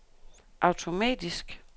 automatisk